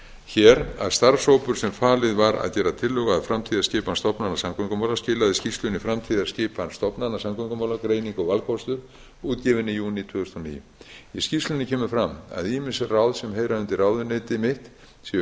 hér að starfshópur sem falið var að gera tillögu að framtíðarskipan stofnana samgöngumála skilaði skýrslunni framtíðarskipan stofnana samgöngumála greining og valkostir útgefinni í júní tvö þúsund og níu í skýrslunni kemur fram að ýmis ráð sem heyra undir ráðuneyti mitt séu